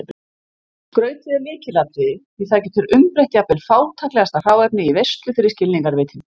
Skrautið er lykilatriði því það getur umbreytt jafnvel fátæklegasta hráefni í veislu fyrir skilningarvitin.